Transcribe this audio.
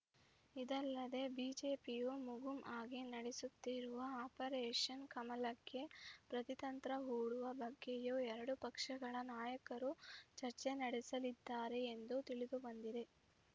ಇದಲ್ಲದೆ ಬಿಜೆಪಿಯು ಮುಗುಂ ಆಗಿ ನಡೆಸುತ್ತಿರುವ ಆಪರೇಷನ್‌ ಕಮಲಕ್ಕೆ ಪ್ರತಿತಂತ್ರ ಹೂಡುವ ಬಗ್ಗೆಯೂ ಎರಡು ಪಕ್ಷಗಳ ನಾಯಕರು ಚರ್ಚೆ ನಡೆಸಲಿದ್ದಾರೆ ಎಂದು ತಿಳಿದುಬಂದಿದೆ